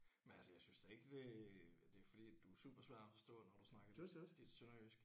Men altså jeg synes da ikke det det er fordi at du er super svær at forstå når du snakker dit sønderjysk